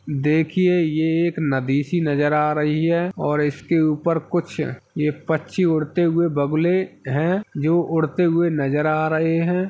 देखिये ये एक नदी सी नज़र आर ही है और इसके ऊपर कुछ ये पंच्ची उड़ते हुऐ बगुले हैं जो उड़ते हुए नज़र आर रहे हैं।